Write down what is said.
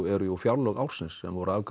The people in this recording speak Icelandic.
eru jú fjárlög ársins sem voru afgreidd